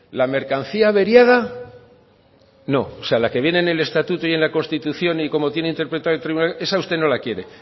la mercancía averiada no o sea la que deben en estatuto y en la constitución y como tiene interpretado esa usted no la quiere